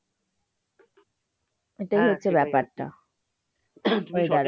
এটাই হচ্ছে ব্যাপারটা।